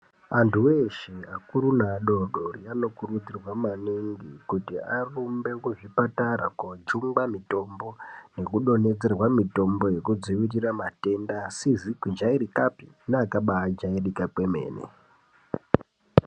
Antu eshe akuru neadodori anokurudzirwa maningi kuti arumbe kuzvipatara kojungwa mitombo nekudonhedzerwa mutombo yekudzivirira matenda asizi kujairikapi neakaba jairika kwemene.